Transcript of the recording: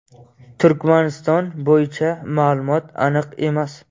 Turkmaniston bo‘yicha ma’lumot aniq emas.